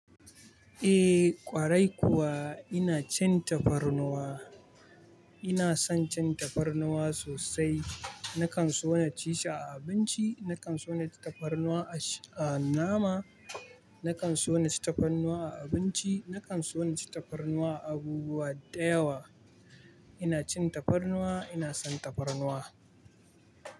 Eh ƙwarai kuwa ina cin tafarnuwa. Ina son cin tafarnuwa sosai. Nakan so na ci shi a abinci, nakan so na ci tafarnuwa a sh-- a nama, nakan so na ci tafarnuwa a abinci, nakan so na ci tafarnuwa a abubuwa da yawa. Ina cin tafarnuwa, ina son tafarnuwa.